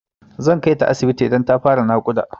Zan kaita asibiti idan ta fara naƙuda.